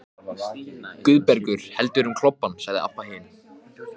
Guðbergur heldur um klobbann, sagði Abba hin.